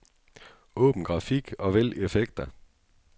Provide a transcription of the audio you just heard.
Åbn grafik og vælg effekter.